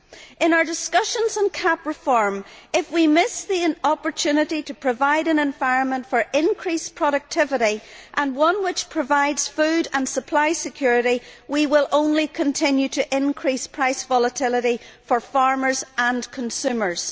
In our discussions on CAP reform, if we miss the opportunity to provide an environment for increased productivity and one which provides food and supply security, we will only continue to increase price volatility for farmers and consumers.